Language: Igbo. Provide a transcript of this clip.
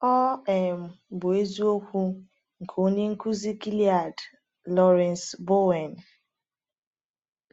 Ọ um bụ isiokwu nke onye nkuzi Gilead, Lawrence Bowen.